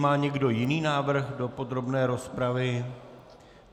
Má někdo jiný návrh do podrobné rozpravy?